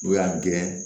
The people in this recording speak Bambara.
N'u y'a gɛrɛ